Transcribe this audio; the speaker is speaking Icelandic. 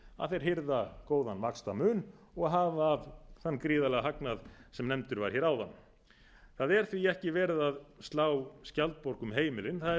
að þeir hirða góðan vaxtamun og hafa af þeim gríðarlegan hagnað sem nefndur var hér áðan það er því ekki verið að slá skjaldborg um heimilin það er verið